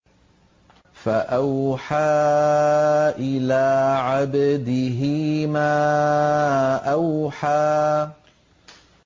فَأَوْحَىٰ إِلَىٰ عَبْدِهِ مَا أَوْحَىٰ